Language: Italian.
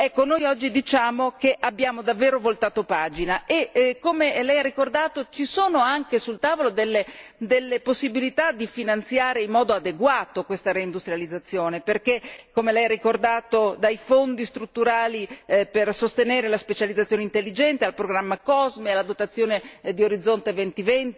Ecco, noi oggi diciamo che abbiamo davvero voltato pagina e, come lei ha ricordato, ci sono anche sul tavolo delle possibilità di finanziare in modo adeguato questa reindustrializzazione, come lei ha ricordato, che vanno dai Fondi strutturali per sostenere la specializzazione intelligente al programma COSME, alla dotazione di Orizzonte 2020,